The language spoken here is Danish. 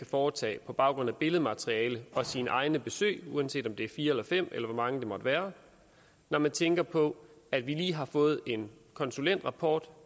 foretage på baggrund af billedmateriale og sine egne besøg uanset om det er fire eller fem eller hvor mange det måtte være når man tænker på at vi lige har fået en konsulentrapport